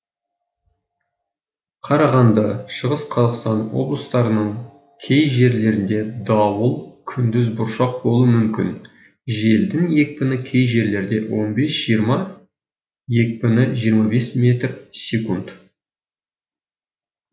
қарағанды шығыс қазақстан облыстарының кей жерлерінде дауыл күндіз бұршақ болуы мүмкін желдің екпіні кей жерлерде он бес жиырма екпіні жиырма бес метр секунд